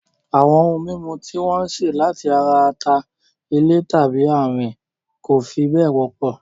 Àwọn ohun mímu tí wọ́n ṣe láti ara ata-ilẹ̀ tàbí àwín kò fi bẹ́ẹ̀ wọ́pọ̀